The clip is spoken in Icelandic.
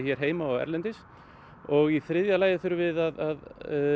erlendis og í þriðja lagi þurfum við að